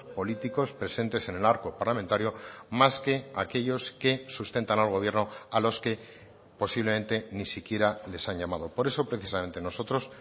políticos presentes en el arco parlamentario más que aquellos que sustentan al gobierno a los que posiblemente ni siquiera les han llamado por eso precisamente nosotros